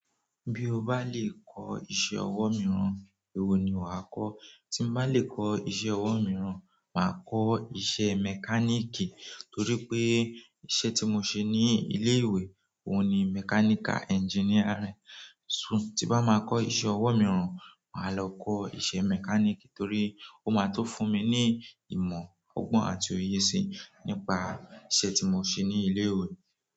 Bí o bá lè kọ́ iṣẹ́ ọwọ́ mìíràn, èwo ni wáa kọ́? Tí mo bá lè kọ́ iṣẹ́ ọwọ́ mìíràn, màá kọ́ iṣẹ́ mechanic torí pé iṣẹ́ tí mo ń ṣe ní ilé ìwé òun ni mechanical engineering. Tí n bá máa kọ́ iṣẹ́ ọwọ́ mìíràn, màá lọ kọ́ iṣẹ́ mechanic torí ó máa tun fún mi ní ìmọ̀ ọgbọ́n àti òye sí nípa iṣẹ́ tí mo ń ṣe ní ilé ìwé.